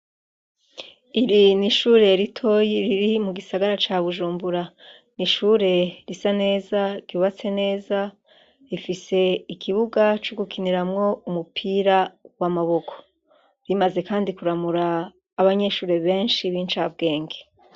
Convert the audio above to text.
Iri n'ishure ritoyi riri mu gisagara ca Bujumbura, ni ishure risa neza, ryubatse neza, rifise ikibuga co gukiniramwo umupira w'amaboko. Rimaze Kandi kuramura abanyeshure benshi b'incambwenge.